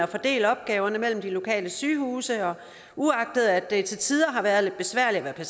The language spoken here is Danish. fordele opgaverne mellem de lokale sygehuse og uagtet at det til tider har været lidt besværligt at